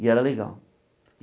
E era legal.